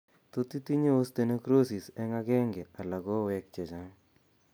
Tot itinye osteonecrosis eng' aenge ala koweek chechang'